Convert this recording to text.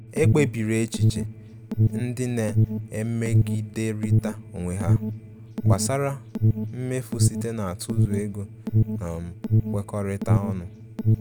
Ekpebiri echiche ndị na-emegiderịta onwe ha gbasara mmefu site n'atụzụ ego na um nkwekọrịta ọnụ.